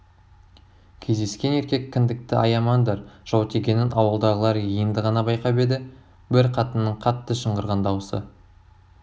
кездескен еркек кіндікті аямаңдар жау тигенін ауылдағылар енді ғана байқап еді бір қатынның қатты шыңғырған даусы